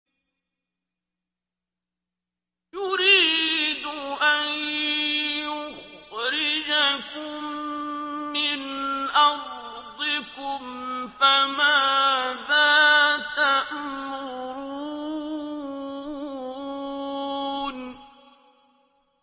يُرِيدُ أَن يُخْرِجَكُم مِّنْ أَرْضِكُمْ ۖ فَمَاذَا تَأْمُرُونَ